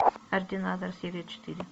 ординатор серия четыре